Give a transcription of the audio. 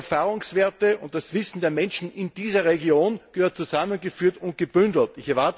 Die Erfahrungswerte und das Wissen der Menschen in dieser Region müssen zusammengeführt und gebündelt werden.